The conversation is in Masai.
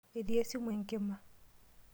Etii esimu enkima.